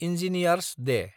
engineer's Day